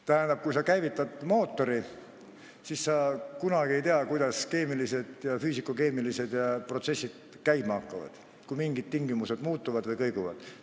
Tähendab, kui sa käivitad mootori, siis sa kunagi ei tea, kuidas keemilised ja füüsikalis-keemilised protsessid käima hakkavad, kui mingid tingimused muutuvad või kõiguvad.